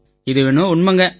இது என்னவோ உண்மைங்க